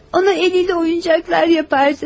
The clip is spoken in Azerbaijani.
Ona əliylə oyuncaqlar düzəldərdi.